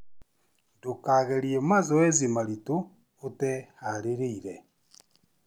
Ndũkageria mazoezi maritũ ũteharĩrĩire